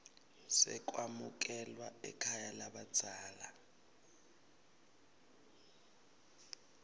sekwamukelwa ekhaya lalabadzela